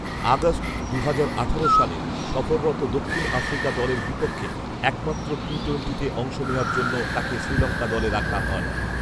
August, দুহাজার আঠারো সালে সফররত দক্ষিণ আফ্রিকা দলের বিপক্ষে একমাত্র টি টোয়েন্টিতে অংশ নেয়ার জন্য তাকে শ্রীলঙ্কা দলে রাখা হয়